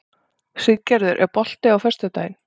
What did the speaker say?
Siggerður, er bolti á föstudaginn?